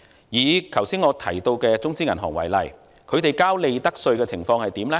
以我剛才提到的中資銀行為例，他們繳交利得稅的情況如何呢？